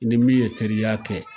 I ni min ye teriya kɛ